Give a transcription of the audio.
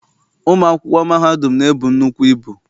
Ụmụ akwụkwọ mahadum na-ebu nnukwu ibu.